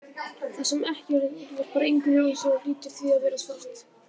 Það sem er ekki neitt endurvarpar engu ljósi og hlýtur því að vera svart.